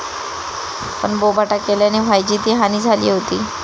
पण बोभाटा केल्याने व्हायची ती हानी झाली होती.